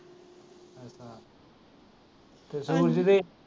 ਤੇ ਸੂਰਜ ਦੇ,